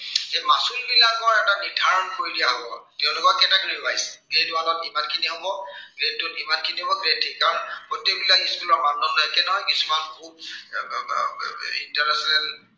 এই মাচুলবিলাকৰ এটা নিৰ্ধাৰণ কৰি দিয়া হব। তেওঁলোকৰ category wise, grade one ত ইমানখিনি হব। grade two ত ইমানখিনি হব, grade eight ত গোটেই বিলাক school ৰ মানদণ্ড একে। কাৰন smart খুব international